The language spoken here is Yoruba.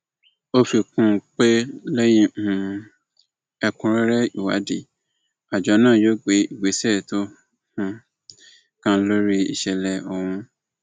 ó fi kún un pé lẹyìn um ẹkúnrẹrẹ ìwádìí àjọ náà yóò gbé ìgbésẹ tó um kàn lórí ìṣẹlẹ ọhún